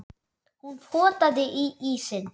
Hún potaði í ísinn.